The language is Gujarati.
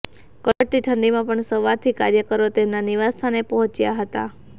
કડકડતી ઠંડીમાં પણ સવારથી કાર્યકરો તેમના નિવાસ સ્થાને પહોંચ્યા હતા